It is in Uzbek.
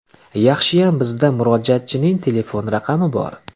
Yaxshiyam bizda murojaatchining telefon raqami bor.